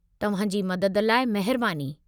तवहां जी मदद लाइ महिरबानी।